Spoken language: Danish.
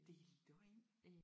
Det er løgn